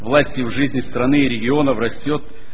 власть и в жизни страны и регионов растёт